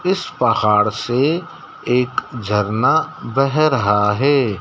इस पहाड़ से एक झरना बह रहा है।